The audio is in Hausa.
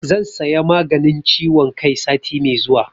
Zan saya maganin ciwon kai sati mai zuwa